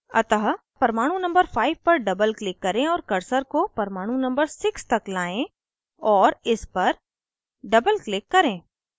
अतः परमाणु number 5 पर doubleclick करें और cursor को परमाणु number 6 तक लाएं और इस पर doubleclick करें